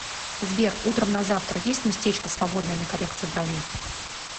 сбер утром на завтра есть местечко свободное на коррекцию бровей